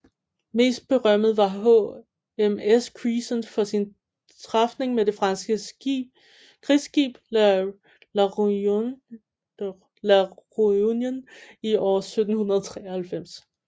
Mest berømmet var HMS Crescent for sin træfning med det franske krigsskib La Réunion i år 1793